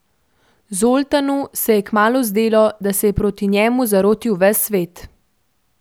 Zoltanu se je kmalu zdelo, da se je proti njemu zarotil ves svet.